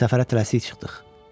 Səfərə tələsik çıxdıq.